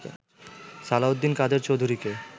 Salauddin Quader চৌধূরিকে